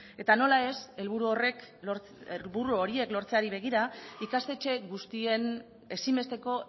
eta nola ez helburu horiek lortzeari begira ikastetxe guztien ezinbesteko